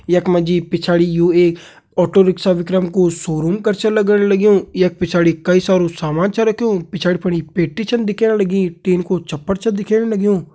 यख मा जी पिछाड़ी यु एक ऑटो रिक्सा विक्रम कु शोरूम कर छ लग्ण लग्युं यखा पिछाड़ी कई सारो सामान छ रख्युं पिछाड़ी फनी पेटी छन दिखेण लगी टिन कु छप्पर छ दिखेण लग्युं।